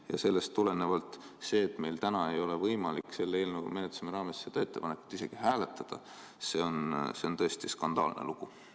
Ja sellest tulenevalt see, et meil täna ei ole võimalik selle eelnõu menetlesime raames seda ettepanekut isegi hääletada, on tõesti skandaalne lugu.